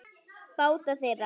Báta þeirra